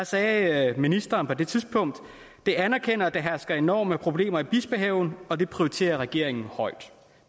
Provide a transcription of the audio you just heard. sagde ministeren på det tidspunkt jeg anerkender at der hersker enorme problemer i bispehaven og det prioriterer regeringen højt